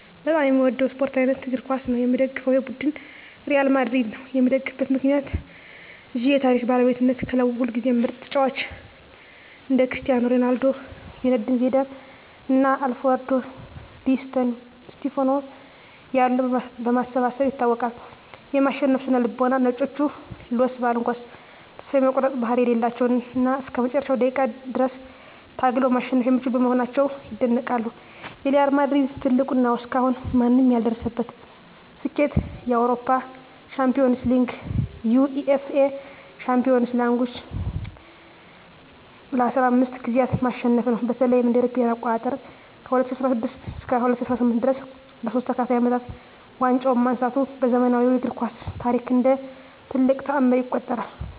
በጣም የምወደው የስፓርት አይነት እግር ኳስ ነው። የምደግፈው ቡድን ሪያል ማድሪድ ነው። የምደግፍበት ምክንያት ዠ የታሪክ ባለቤትነት ክለቡ ሁልጊዜም ምርጥ ተጫዋቾችን (እንደ ክርስቲያኖ ሮናልዶ፣ ዚነዲን ዚዳን እና አልፍሬዶ ዲ ስቲፋኖ ያሉ) በማሰባሰብ ይታወቃል። የማሸነፍ ስነ-ልቦና "ነጮቹ" (Los Blancos) ተስፋ የመቁረጥ ባህሪ የሌላቸው እና እስከ መጨረሻው ደቂቃ ድረስ ታግለው ማሸነፍ የሚችሉ በመሆናቸው ይደነቃሉ። የሪያል ማድሪድ ትልቁ እና እስካሁን ማንም ያልደረሰበት ስኬት የአውሮፓ ሻምፒዮንስ ሊግን (UEFA Champions League) ለ15 ጊዜያት ማሸነፉ ነው። በተለይም እ.ኤ.አ. ከ2016 እስከ 2018 ድረስ ለሶስት ተከታታይ አመታት ዋንጫውን ማንሳቱ በዘመናዊው እግር ኳስ ታሪክ እንደ ትልቅ ተአምር ይቆጠራል።